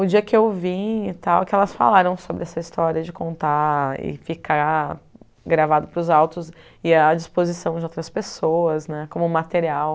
O dia que eu vim e tal, elas falaram sobre essa história de contar e ficar gravado para os altos e à disposição de outras pessoas né, como material.